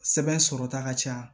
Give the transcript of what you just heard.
Sɛbɛn sɔrɔta ka ca